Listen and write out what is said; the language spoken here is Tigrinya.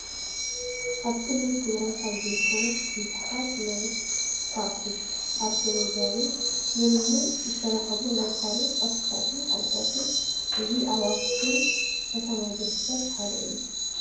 ኣብ ክልል ትግራይ ካብ ዝርከቡ ቡዙሓት ናይ ዃዕቲ ኣርኬኤሎጅያዊ ምርምርን ዝተረኸቡ ናይ ታሪክ ቅርስታትን ሓድግታትን እዚ ኣብ ኣክሱም ከተማ ዝርከብ ሓደ እዩ፡፡